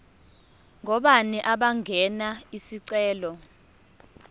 ngobani abangenza isicelo